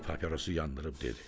Bəy papirosu yandırıb dedi: